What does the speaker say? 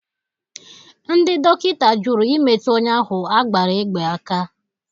Ndị dọkịta jụrụ imetụ onye ahụ a gbara egbe aka.